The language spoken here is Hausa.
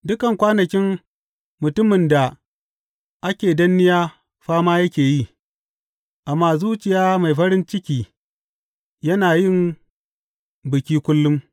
Dukan kwanakin mutumin da ake danniya fama yake yi, amma zuciya mai farin ciki yana yin biki kullum.